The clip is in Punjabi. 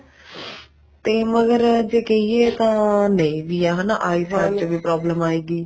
ਜੇ ਕਹਿਏ ਤਾਂ ਨਹੀਂ ਵੀ ਹਨਾ ਚ ਵੀ problem ਆਏਗੀ